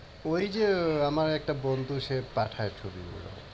ওই যে আমার একটা বন্ধু সে পাঠায় ছবি গুলো।